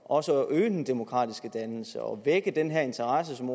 også at øge den demokratiske dannelse og vække den her interesse som